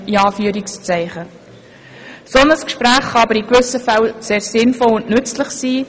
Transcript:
Das kann aber in gewissen Fällen sehr sinnvoll und nützlich sein.